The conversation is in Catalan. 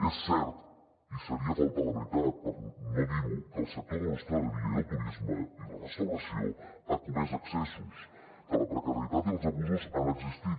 és cert i seria faltar a la veritat no dir ho que el sector de l’hostaleria i el turisme i la restauració ha comès excessos que la precarietat i els abusos han existit